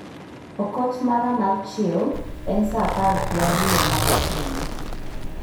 Okot mara mar chiew en saa apar gi ariyo ma gokinyi.